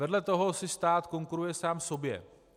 Vedle toho si stát konkuruje sám sobě.